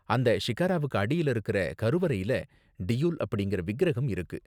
அந்த ஷிக்காராவுக்கு அடியில இருக்குற கருவறையில டியுல் அப்படிங்கற விக்கிரகம் இருக்கு.